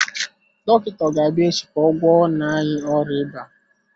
Dọkịta ọ ga-abịa echi ka ọ gwọọ nna anyị ọrịa ịba?